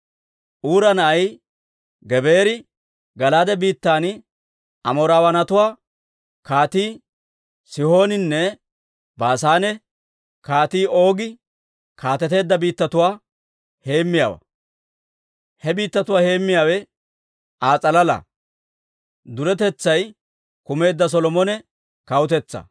Uura na'ay Gebeeri Gala'aade biittan Amoorawaanatuwaa Kaatii Sihooninne Baasaane Kaatii Oogi kaateteedda biittatuwaa heemmiyaawaa; he biittatuwaa heemmiyaawe Aa s'alala.